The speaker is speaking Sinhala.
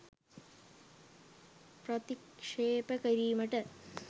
ප්‍රතික්ශේප කිරීමට